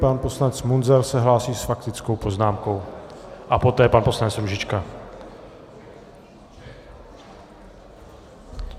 Pan poslanec Munzar se hlásí s faktickou poznámkou a poté pan poslanec Růžička.